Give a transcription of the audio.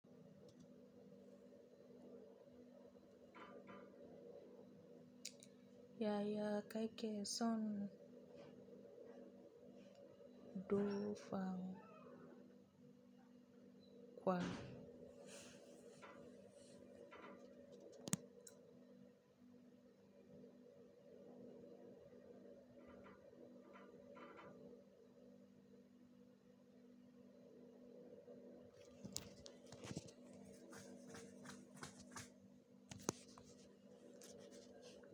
Yaya kake son do fam kwa.